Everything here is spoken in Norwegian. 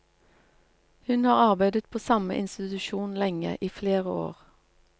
Hun har arbeidet på samme institusjon lenge, i flere år.